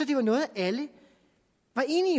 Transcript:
det var noget alle